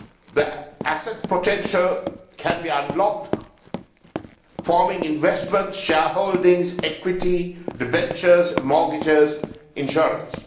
The asset potential can be unlocked, forming investments, shareholdings, equity, debentures, mortgages, insurance.